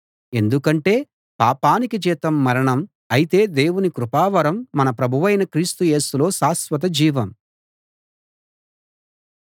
ఎందుకంటే పాపానికి జీతం మరణం అయితే దేవుని కృపావరం మన ప్రభువైన క్రీస్తు యేసులో శాశ్వత జీవం